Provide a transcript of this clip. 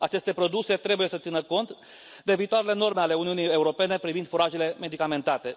Aceste produse trebuie să țină cont de viitoarele norme ale Uniunii Europene privind furajele medicamentate.